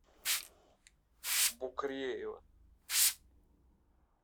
букреева